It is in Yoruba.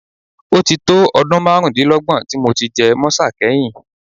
Ó ti tó ọdún márùndínlógún tí mo ti jẹ mọ́sà kẹ́yìn